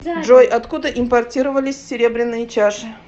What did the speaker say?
джой откуда импортировались серебряные чаши